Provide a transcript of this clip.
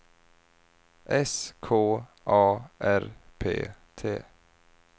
S K A R P T